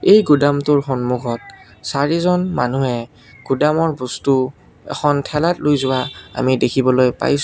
এই গুদামটোৰ সন্মুখত চাৰিজন মানুহে গুদামৰ বস্তু এখন ঠেলাত লৈ যোৱা আমি দেখিবলৈ পাইছ--